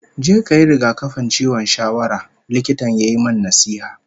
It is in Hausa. "Je kayi rigakafin ciwon shawara", Likitan ya yi min nasiha